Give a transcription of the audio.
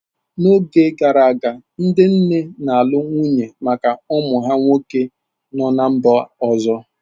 N'oge gara aga, ndị nne na-alụ nwunye maka ụmụ ha nwoke no ná mba ọzọ.